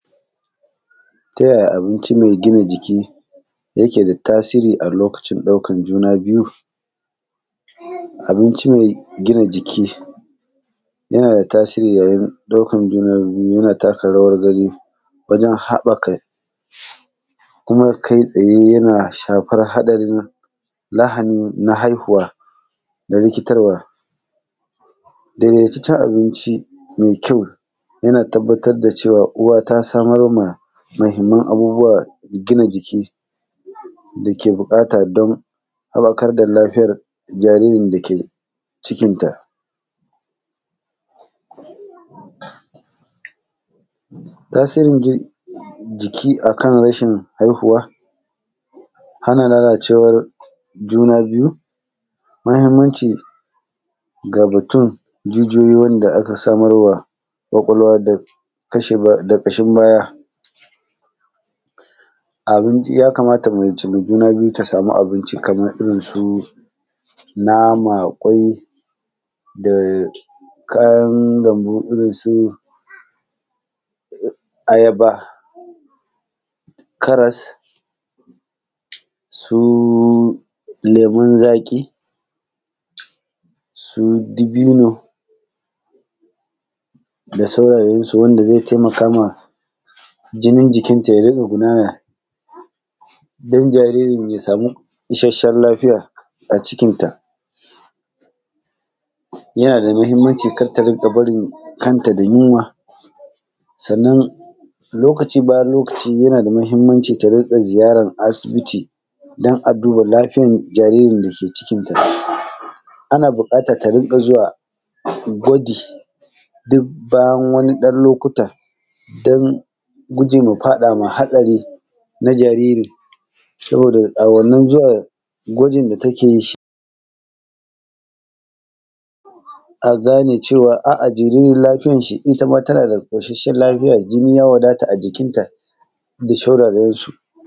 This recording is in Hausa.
Ta yaya abinci me gina jiki yake da tasiri a lokacin ɗaukan juna biyu? Abinci me gina jiki yana da tasiri yayin ɗaukan juna biyu, yana taka rawar gani wajen haƃaka, kuma kai-tsaaye yana shafar haɗarin lahani na haihuwa ga rikitarwa. Dedetaccen abinci me kyau, yana tabbatar da cewa uwa ta samar ma mahimman abubuwa gina jiki da ke buƙata don haƃakar da lafiyar jaririn da ke cikinta. Tasirin ji; jiki a kan rashin haihuwa, hana lalacewar juna biyu, mahimmanci ga batun jijiyoyi wanda aka samar wa ƙwaƙwalwa da kashe ba; da ƙashin baya. Abinci, ya kamata mace me juna biyu ta samu abinci kamar irin su nama, ƙwai da kayan lambu irin su ayaba, karas, su lemun zaƙi, su dibino da saurarensu wanda ze temaka ma jinin jikinta ya dinga gudana don jaririn ya samu isasshen lafiya a cikinta. Yana da mahimmanci, kar ta rinƙa barin kanta da yunwa, sannan, lokaci bayan lokaci yana da mahimmanci ta rinƙa ziyaran asibiti don a duba lafiyan jaririn da ke cikinta. Ana buƙatan ta rinƙa zuwa gwaji dik bayan wani ɗan lokuta don guje ma faɗa ma haɗari, saboda a wannan zuwa gwajin da take yin shi, a gane cewa a; a jaririn lafiyash shi, ita ma tana da ƙosasshen lafiya, jinni ya wadata a jikinta, da shauraransu.